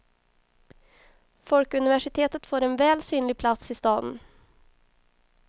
Folkuniversitet får en väl synlig plats i staden.